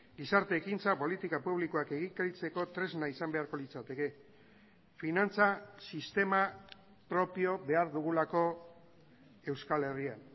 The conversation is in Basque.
gizarte ekintza politika publikoak egikaritzeko tresna izan beharko litzateke finantza sistema propio behar dugulako euskal herrian